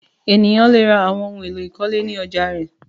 Ènìyàn le ra àwọn ohun-èlò ìkọ́lé ní ọjà rẹ̀.